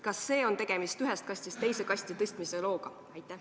Kas siin on tegemist ühest kastist teise kasti tõstmise looga?